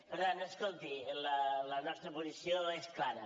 per tant escolti la nostra posició és clara